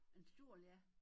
En stol ja